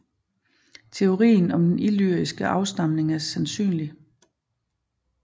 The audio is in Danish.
Teorien om den illyriske afstamning er sandsynlig